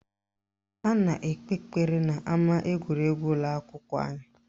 Ha na-ekpe ekpere n'ama egwuregwu ụlọakwụkwọ anyị